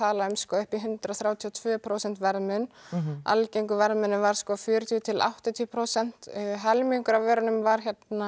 upp í hundrað þrjátíu og tvö prósent verðmun algengur verðmunur var fjörutíu til áttatíu prósent helmingur af vörunum var